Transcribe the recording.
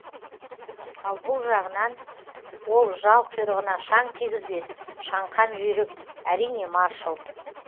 ал бұл жағынан ол жал құйрығына шаң тигізбес шаңқан жүйрік әрине маршал